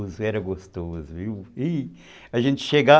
Era gostoso, viu, e, a gente chegava